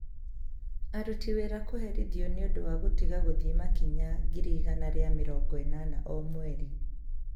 Aruti Wĩra Kũherithio nĩ Ũndũ wa Gũtiga Gũthiĩ Makinya ngiri igana rĩa mĩrongo ĩnana o Mweri